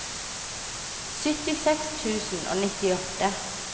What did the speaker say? syttiseks tusen og nittiåtte